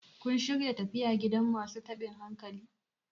kun shirya tafiya gidan masu tabin hankali?